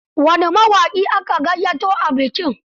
Wane mawaƙi aka gayyato a bikin?